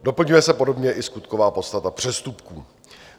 Doplňuje se podobně i skutková podstata přestupků.